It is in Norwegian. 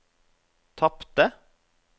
tapte